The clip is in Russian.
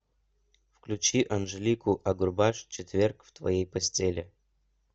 включи анжелику агурбаш четверг в твоей постели